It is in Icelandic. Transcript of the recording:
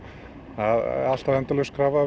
alltaf endalaus krafa